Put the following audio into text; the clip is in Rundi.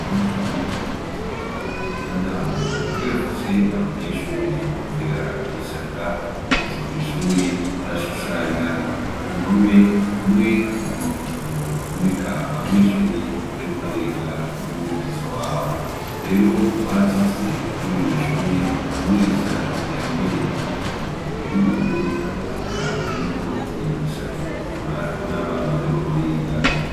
Mashuri matomato y'intango kugira afashe abanyeshuri kugira ishaka kuza kw'ishuri arashushanya wumpome hamwe mu mafoto aboneka abanyeshuri bariko barega n'umwigisha wabo rero baraca afye kurira iyo shuri umwigishanye ambaye ijipu y'ubururu eka anikoti ishaka gutukura n'abana bariko bariga.